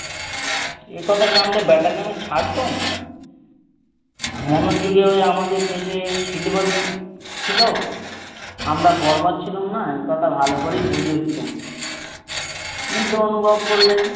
এ কথা জানলে ব্যাটাকে আমি ছাড়তুম? মনোযুগে ঐ আমাদের দেশে সিল বাড়ি ছিল আমরা বর্বর ছিলাম না এ কথা ভালো করেই বুঝিয়ে দিতুম। বৃদ্ধ অনুভব করলেন,